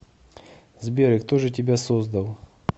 сбер и кто же тебя создал